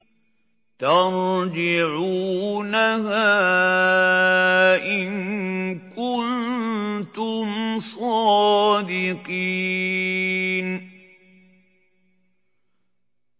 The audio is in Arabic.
تَرْجِعُونَهَا إِن كُنتُمْ صَادِقِينَ